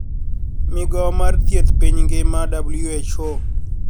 Migawo mar thieth piny ngima (WHO)